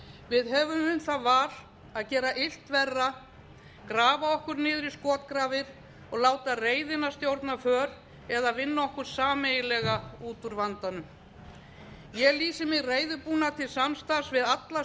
við höfum um það val að gera illt verra grafa okkur niður í skotgrafir og láta reiðina stjórna för eða vinna okkur sameiginlega út úr vandanum ég lýsi mig reiðubúna til samstarfs við alla